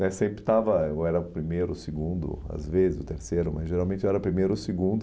né Sempre estava, eu era o primeiro, o segundo, às vezes o terceiro, mas geralmente eu era o primeiro ou o segundo.